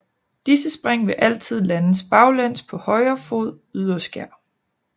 Disse spring vil altid landes baglæns på højre fods yderskær